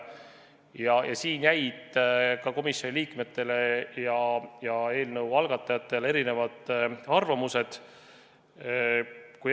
Selles osas jäid komisjoni liikmed ja eelnõu algatajad erinevale arvamusele.